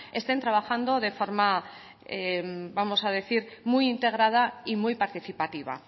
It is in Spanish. estén trabajando de forma vamos a decir muy integrada y muy participativa